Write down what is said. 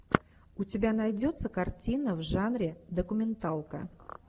у тебя найдется картина в жанре документалка